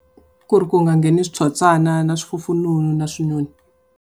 Ku ri ku nga ngheni switsotswana na swifufununu na swinyoni.